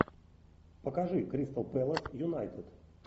покажи кристал пэлас юнайтед